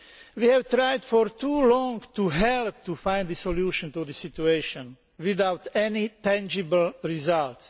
We have tried for too long to help find a solution to the situation without any tangible results.